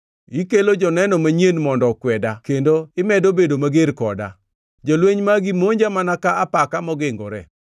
Ikelo joneno manyien mondo okweda kendo imedo bedo mager koda; jolweny magi monja mana ka apaka magingore.